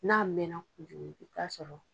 N'a mɛnna i'a sɔrɔ.